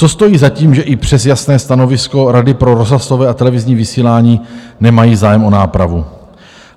Co stojí za tím, že i přes jasné stanovisko Rady pro rozhlasové a televizní vysílání nemají zájem o nápravu?